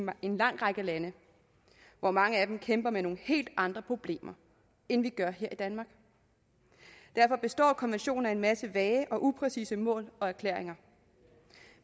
en lang række lande hvor mange kæmper med nogle helt andre problemer end vi gør i danmark derfor består konventionen af en masse vage og upræcise mål og erklæringer